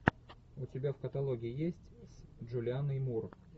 у тебя в каталоге есть с джулианой мур